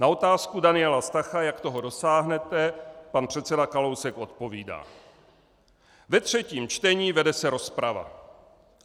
Na otázku Daniela Stacha, jak toho dosáhnete, pan předseda Kalousek odpovídá: Ve třetím čtení vede se rozprava.